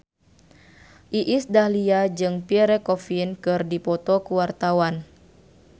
Iis Dahlia jeung Pierre Coffin keur dipoto ku wartawan